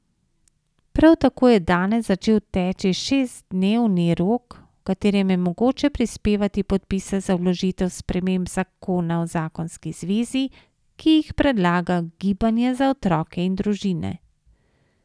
Prav tako je danes začel teči šestdesetdnevni rok, v katerem je mogoče prispevati podpise za vložitev sprememb zakona o zakonski zvezi, ki jih predlaga Gibanje za otroke in družine.